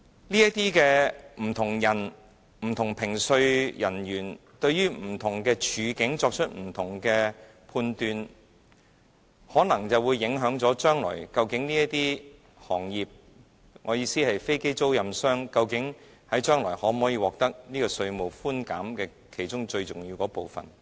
這些不同人、不同評稅人員對於不同處境作出不同的判斷，可能會影響這些行業，即飛機租賃管理商將來究竟能否獲得稅務寬減的其中最重要的部分。